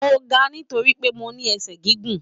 Mo gà nitoripe mo ní ẹsẹ gígùn.